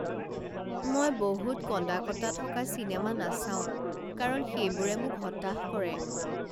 মই বহুত কন্দা কটা থকা চিনেমা নাচাওঁ কাৰণ সেইবোৰে মোক হতাশ কৰে